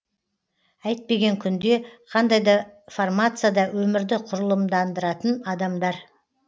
әйтпеген күнде қандай да формацияда өмірді құрылымдандыратын адамдар